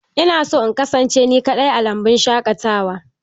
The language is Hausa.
Ina son in kasance ni kaɗai a lambu shaƙatawa.